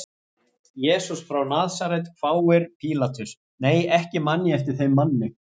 Jesús frá Nasaret, hváir Pílatus, nei ekki man ég eftir þeim manni.